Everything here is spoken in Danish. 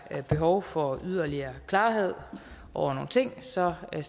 behov for yderligere klarhed over nogle ting stiller jeg